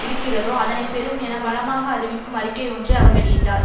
இருக்கிறதோ அதனை பெறும் என பலமாக அறிவிக்கும் அறிக்கை ஒன்றை அவர் வெளியிட்டார்